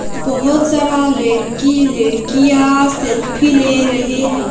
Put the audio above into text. बहोत सारा लेड़की लेड़कियां सेल्फी ले रहे हैं।